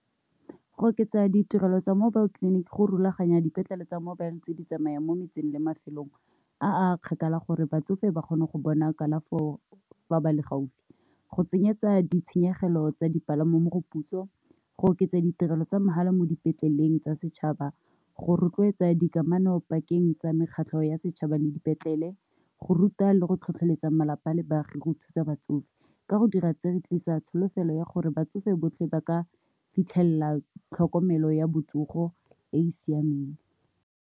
Go oketsa ditirelo tsa mobile clinic go rulaganya dipetlele tsa mobile tse di tsamayang mo metseng le mafelong a kgakala gore batsofe ba kgone go bona kalafo fa ba le gaufi. Go tsenyetsa ditshenyegelo tsa dipalamo moputso , go oketsa ditirelo tsa mahala mo dipetleleng tsa setšhaba, go rotloetsa dikamano pakeng tsa mekgatlho ya setšhaba le dipetlele, go ruta le go tlhotlheletsa malapa a le baagi go thusa batsofe ka go dira tse re tlisa tsholofelo ya gore batsofe botlhe ba ka fitlhelela tlhokomelo ya botsofe e e siameng.